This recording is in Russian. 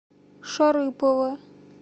шарыпово